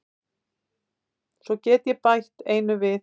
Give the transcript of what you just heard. Svo get ég bætt einu við.